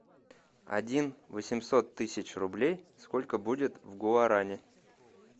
один восемьсот тысяч рублей сколько будет в гуарани